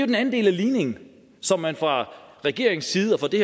den anden del af ligningen som man fra regeringens side og fra det